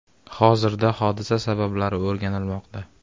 Hozirda hodisa sabablari o‘rganilmoqda.